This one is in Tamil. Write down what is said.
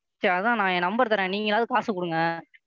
சரி அதான் நான் என் Number தர்றேன் நீங்களாவது காசு கொடுங்க.